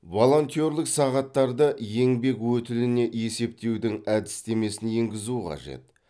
волонтерлік сағаттарды еңбек өтіліне есептеудің әдістемесін енгізу қажет